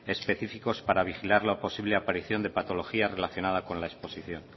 específicos para vigilar la posible aparición de patologías relacionadas con la exposición